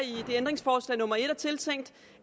i ændringsforslag nummer en er tiltænkt